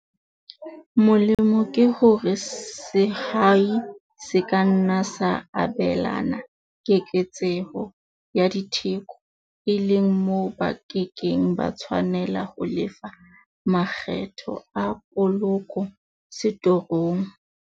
Molemo ke hore sehwai se ka nna sa abelana keketseho ya ditheko, e leng moo ba ke keng ba tshwanela ho lefa makgetho a poloko setorong.